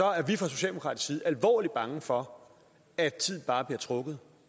er vi fra socialdemokratisk side alvorligt bange for at tiden bare bliver trukket